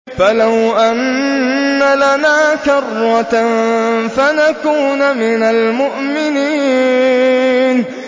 فَلَوْ أَنَّ لَنَا كَرَّةً فَنَكُونَ مِنَ الْمُؤْمِنِينَ